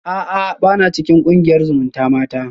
A'a bana cikin kungiyar zumutamata